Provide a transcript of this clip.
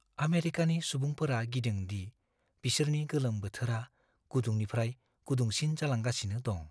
आमेरिकानि सुबुंफोरा गिदों दि बिसोरनि गोलोम बोथोरा गुदुंनिफ्राय गुदुंसिन जालांगासिनो दं।